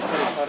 Qoy qoyaq.